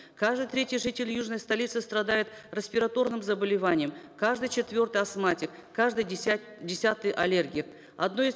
каждый третий житель южной столицы страдает респираторным заболеванием каждый четвертый астматик каждый десятый аллергик